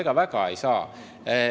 No ega väga ei saa.